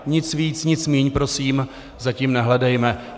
Nic víc, nic míň prosím za tím nehledejme.